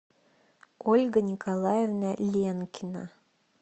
ольга николаевна ленкина